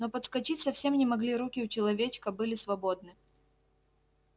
но подскочить совсем не могли руки у человечка были свободны